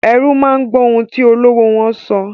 Erú máa gbọ́ ohun tí olówó wọ́n sọ.